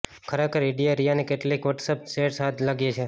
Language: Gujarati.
ખરેખર ઇડીએ રિયાની કેટલીક વોટ્સએપ ચેટ્સ હાથ લાગી છે